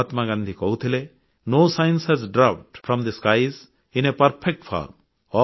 ମହାତ୍ମାଗାନ୍ଧୀ କହୁଥିଲେ no science has dropped from the ସ୍କାଇଜ୍ in a perfect form